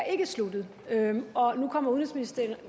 sluttet og nu kommer udenrigsministeren